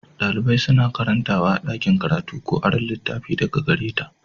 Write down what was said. Dalibai suna karantawa a ɗakin karatu ko aron littattafai daga gare ta.